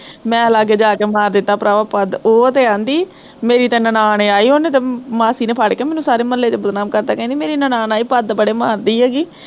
ਮੈਂ ਲਾਗੇ ਜਾਕੇ ਮਾਰ ਦਿੱਤਾ ਪਰਾਵਾਂ ਪਦ, ਓਹ ਤੇ ਕਹਿੰਦੀ, ਮੇਰੀ ਤੇ ਨਨਾਣ ਆਈ ਉਹਨੇ ਤੇ ਮਾਸੀ ਨੇ ਫੜਕੇ ਮੈਨੂੰ ਸਾਰੇ ਮੁਹੱਲੇ ਚ ਬਦਨਾਮ ਕਰਤਾ, ਕਹਿੰਦੀ ਮੇਰੀ ਨਨਾਣ ਆਈ ਪਦ ਬੜੇ ਮਾਰਦੀ ਐਗੀ